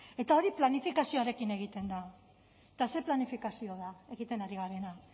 eta hori planifikazioarekin egiten da eta ze planifikazio da egiten ari garena